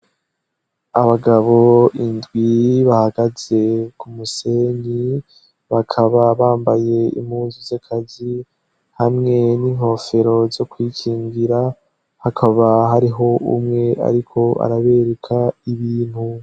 Abagabo indwi bahagaze ku musenyi, bakaba bambaye impunzu z' akazi hamwe n'inkofero zo kwikingira, hakaba hariho umwe ariko arabereka ibintu.